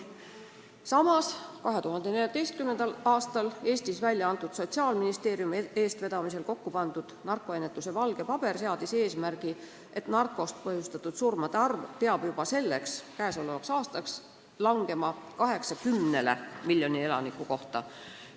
Samas, 2014. aastal Eestis Sotsiaalministeeriumi eestvedamisel kokku pandud narkoennetuse valge paber seadis eesmärgi, et narkootikumidest põhjustatud surmade arv peab juba käesolevaks aastaks langema 80-le miljoni elaniku kohta.